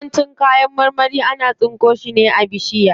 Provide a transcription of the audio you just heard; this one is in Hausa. Yawancin kayan marmari ana tsinko su ne a bishiya.